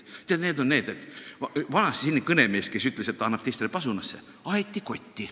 Tead, vanasti selline kõnemees, kes ütles, et ta annab teistele pasunasse, aeti kotti.